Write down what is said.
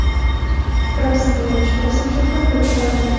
Biroq samolyot chiptasi uchun ham pulim qolmadi.